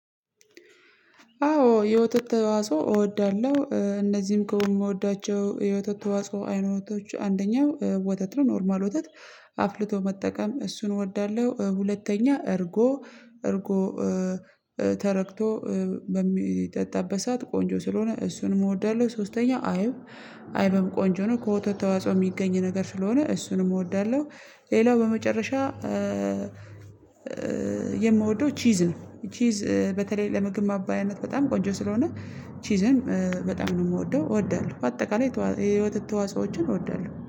አዎ የወተት ተዋጽኦ እወዳለሁ እነዚህም ከሆነ የምወዳቸው የወተት ተዋጽኦ አይነቶች አንደኛው ወተት ነው ኖርማል ወተት አፍልቶ መጠቀም እሱን እወዳለሁ። ሁለተኛ እርጎ እርጎ ተረግቶ በሚጠጣበት ሰዓት ቆንጆ ስለሆነ እሱንም እወዳለሁ። ሶስተኛ አይብ አይብም ቆንጆ ነው ከወተት ተዋጽኦ የሚገኝ ነገር ስለሆነ እሱንም እወዳለሁ። ሌላው በመጨረሻ የምወደው ቺዝ ነው። ቺዝ በተለይ ለምግብ ማባያነት በጣም ቆንጆ ስለሆነ ቺዝን በጣም ነው የምወደው እወዳለሁ በአጠቃላይ የወተት ተዋጽኦችን እወዳለሁ